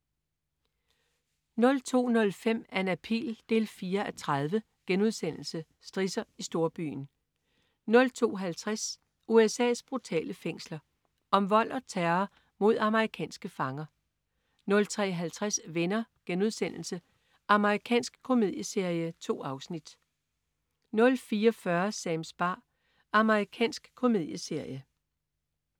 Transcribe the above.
02.05 Anna Pihl 4:30.* Strisser i storbyen 02.50 USA's brutale fængsler. Om vold og terror mod amerikanske fanger 03.50 Venner.* Amerikansk komedieserie. 2 afsnit 04.40 Sams bar. Amerikansk komedieserie